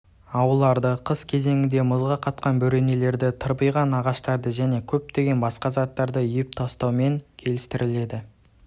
ауларды қыс кезеңінде мұзға қатқан бөренелерді тырбыйған ағаштарды және көптеген басқа заттарды үйіп тастауымен келістіріледі